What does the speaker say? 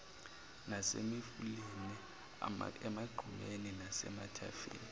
nasemifuleni emagqumeni nasemathafeni